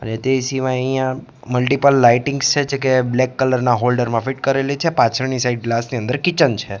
અને મા અહિયા મલ્ટિપલ લાઇટિંગ્સ છે જે કે બ્લેક કલર ના હોલ્ડર મા ફિટ કરેલી છે પાછળની સાઇડ ગ્લાસ ની અંદર કિચન છે.